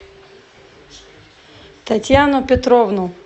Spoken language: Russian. татьяну петровну